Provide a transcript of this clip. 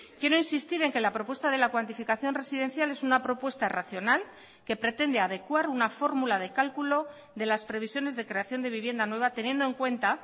quiero insistir en que la propuesta de la cuantificación residencial es una propuesta racional que pretende adecuar una fórmula de cálculo de las previsiones de creación de vivienda nueva teniendo en cuenta